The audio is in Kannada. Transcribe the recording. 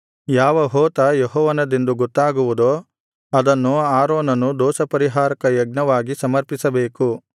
ಯಾವ ಹೋತ ಯೆಹೋವನದೆಂದು ಗೊತ್ತಾಗುವುದೋ ಅದನ್ನು ಆರೋನನು ದೋಷಪರಿಹಾರಕ ಯಜ್ಞವಾಗಿ ಸಮರ್ಪಿಸಬೇಕು